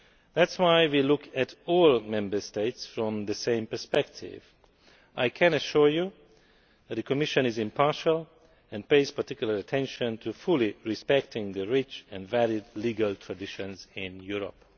That is why we look at all Member States from the same perspective. I can assure you that the Commission is impartial and pays particular attention to respecting fully the rich and varied legal traditions in Europe.